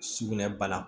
Sugunɛ bana